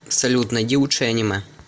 салют найди лучшие аниме